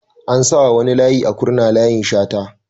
An sa wa wani layi a Kurna "Layin Shata"